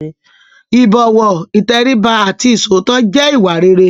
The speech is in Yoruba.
ìbọ̀wọ̀, ìtẹríba àti iṣòótọ́ jẹ́ ìwà rere.